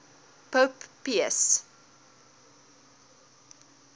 pope pius